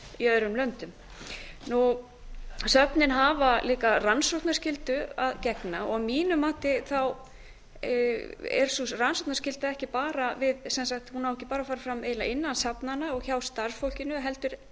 museum í öðrum löndum söfnin hafa líka rannsóknarskyldu að gegna að mínu mati er sú rannsóknarskylda ekki bara við hún á ekki bara að fara fram eiginlega innan safnanna og hjá starfsfólkinu heldur